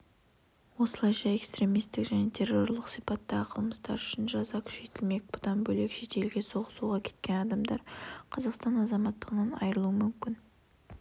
осылайша экстремистік және террорлық сипаттағы қылмыстар үшін жаза күшейтілмек бұдан бөлек шетелге соғысуға кеткен адамдар қазақстан азаматтығынан айырылуы мүмкін